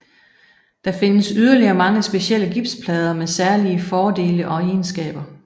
Der findes yderligere mange specielle gipsplader med særlige fordele og egenskaber